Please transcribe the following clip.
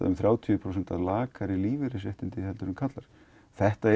um þrjátíu prósent lakari lífeyrisréttindi en karlar þetta